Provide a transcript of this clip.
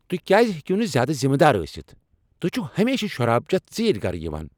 تہۍ کیٛاز ہیٚکو نہٕ زیادٕ ذمہٕ دار ٲستھ؟ تہۍ چِھو ہمیشہٕ شراب چیتھ ژیرۍ گرٕ یوان۔